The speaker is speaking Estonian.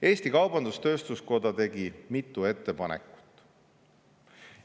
Eesti Kaubandus-Tööstuskoda tegi mitu ettepanekut.